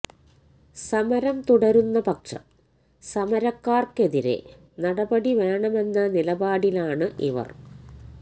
സമരം തുടരുന്ന പക്ഷം സമരക്കാര്ക്കെതിരെ നടപടി വേണമെന്ന നിലപാടിലാണ് ഇവര്